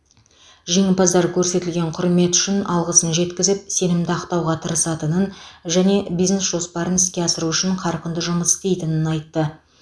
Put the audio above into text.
жеңімпаздар көрсетілген құрмет үшін алғысын жеткізіп сенімді ақтауға тырысатынын және бизнес жоспарын іске асыру үшін қарқынды жұмыс істейтінін айтты